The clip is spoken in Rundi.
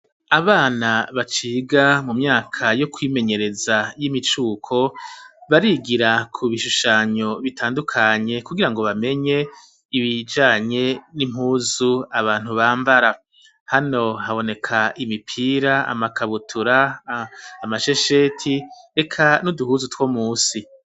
Abana baciga mu myaka yo kwimenyereza y'imicuko barigira ku bishushanyo bitandukanye kugira ngo bamenye ibijanye n'impuzu abantu bambara hano haboneka imipira amakabutura amashesheti eka n'uduhuzu two musi.